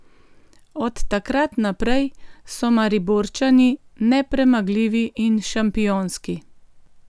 Od takrat naprej so Mariborčani nepremagljivi in šampionski.